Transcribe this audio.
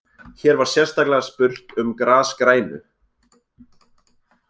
Hér var sérstaklega spurt um grasgrænu.